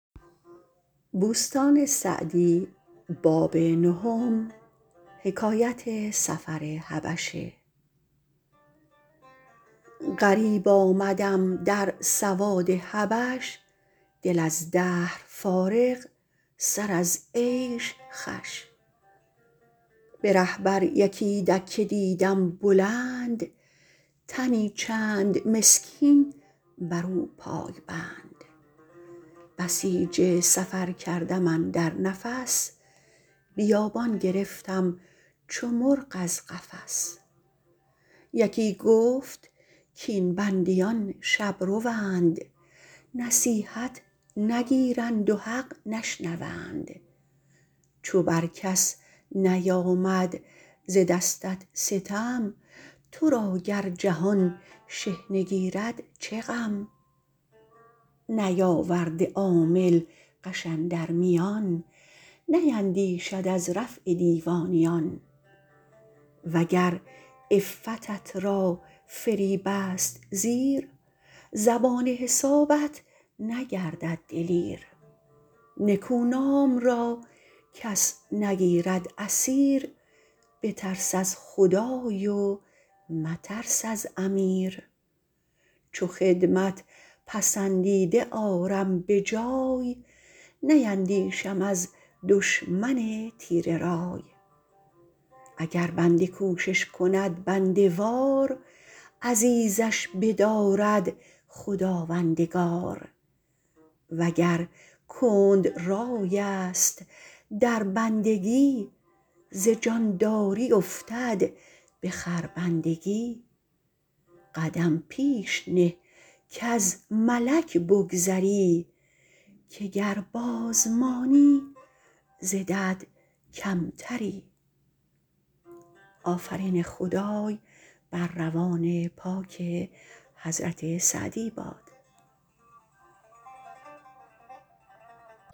غریب آمدم در سواد حبش دل از دهر فارغ سر از عیش خوش به ره بر یکی دکه دیدم بلند تنی چند مسکین بر او پای بند بسیج سفر کردم اندر نفس بیابان گرفتم چو مرغ از قفس یکی گفت کاین بندیان شبروند نصیحت نگیرند و حق نشنوند چو بر کس نیامد ز دستت ستم تو را گر جهان شحنه گیرد چه غم نیاورده عامل غش اندر میان نیندیشد از رفع دیوانیان وگر عفتت را فریب است زیر زبان حسابت نگردد دلیر نکونام را کس نگیرد اسیر بترس از خدای و مترس از امیر چو خدمت پسندیده آرم به جای نیندیشم از دشمن تیره رای اگر بنده کوشش کند بنده وار عزیزش بدارد خداوندگار وگر کند رای است در بندگی ز جانداری افتد به خربندگی قدم پیش نه کز ملک بگذری که گر باز مانی ز دد کمتری